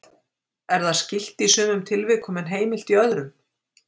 er það skylt í sumum tilvikum en heimilt í öðrum